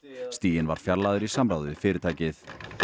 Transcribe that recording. stiginn var fjarlægður í samráði við fyrirtækið